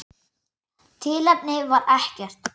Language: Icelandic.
Tilefni var ekkert.